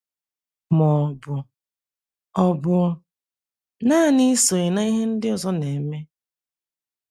Ma ọ bụ, ọ̀ bụ nanị isonye na ihe ndị ọzọ na-eme?